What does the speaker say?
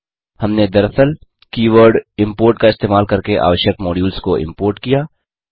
हमने दरअसल keyword import का इस्तेमाल करके आवश्यक मॉड्यूल्स को इम्पोर्ट किया